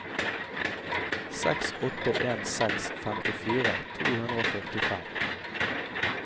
seks åtte en seks femtifire to hundre og førtifem